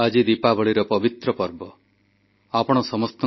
ଭାରତ କୀ ଲକ୍ଷ୍ମୀ ଅଭିଯାନରେ ମିଳିଥିବା ମତାମତ ସମ୍ପର୍କରେ ଉଲ୍ଲେଖ କଲେ ପ୍ରଧାନମନ୍ତ୍ରୀ